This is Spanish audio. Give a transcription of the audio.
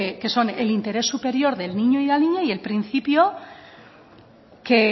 que son el interés superior del niño y la niña y el principio que